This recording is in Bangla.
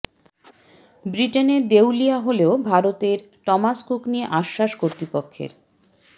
ব্রিটেনে দেউলিয়া হলেও ভারতের টমাস কুক নিয়ে আশ্বাস কর্তৃপক্ষের